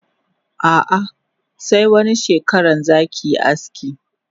Ah ah se wani shekaran zanyi aski.